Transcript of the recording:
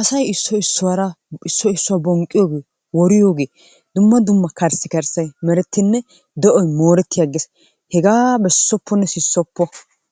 asay issoy issuwara issoy issuwa bonqqiyogee woriyogee dumma dumma karssikarssay merettinne de'oy mooreti agees. Hegaa besopponne sissoppo!